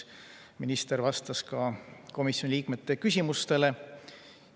Minister vastas ka komisjoni liikmete küsimustele.